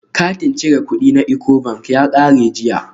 Katin cire kudi na Ecobank ya kare jiya